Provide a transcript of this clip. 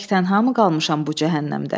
Tək-tənha mı qalmışam bu cəhənnəmdə?